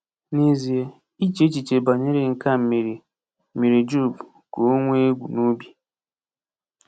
N’ezie, iche echiche banyere nke a mere mere Job ka o nwee egwu n’obi.